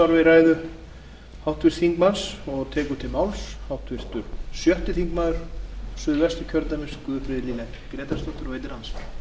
virðulegur forseti háttvirtur þingmaður árni páll árnason sagði mig hafa neikvæð og gamaldags viðhorf en ég verð